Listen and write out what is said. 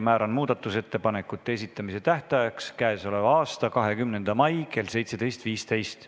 Määran muudatusettepanekute esitamise tähtajaks k.a 20. mai kell 17.15.